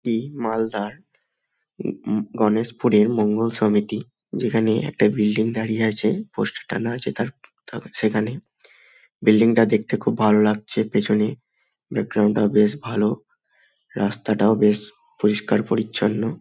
এই মালদহের গণেশ পুর এর মঙ্গলে সমিতি। যেইখানে একটা বিল্ডিং দাঁড়িয়ে আছে। পিছনে বিল্ডিং তা দেখতে খুব ভালো লাগছে। পিছনে বাকৰুন্ড তা বেশ ভালো। রাস্তা ঘাট বেশ পরিষ্কার পরিছন্ন।